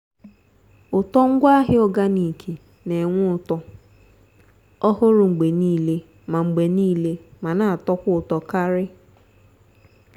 ụtọ ngwaahịa organic n'enwe ụtọ ọhụrụ mgbe niile ma mgbe niile ma n'atọkwa ụtọ karị.